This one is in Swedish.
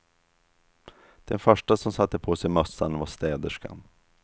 Den första som satte på sig mössan var städerskan.